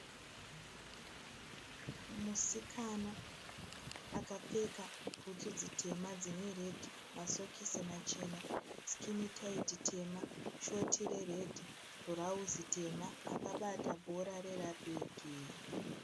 Musikana akapfeka butsu dzitema dzine redhi, masokisi machena, sikini taiti tema, shoti reredhi, bhurazi tema, akabata bhora reragibhi.